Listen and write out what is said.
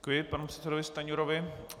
Děkuji panu předsedovi Stanjurovi.